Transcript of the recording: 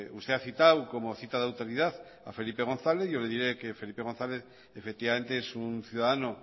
usted ha citado como cita de autoridad a felipe gonzález yo le diré que felipe gonzález efectivamente es un ciudadano